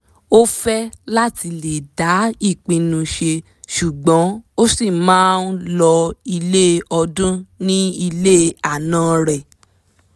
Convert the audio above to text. ọ́ fẹ́ láti lè dá ìpinu ṣe ṣùgbọ́n ó sì máa ń lọ ilé ọdún ní ilé ànan rẹ̀